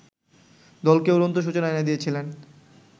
দলকে উড়ন্ত সূচনা এনে দিয়েছিলেন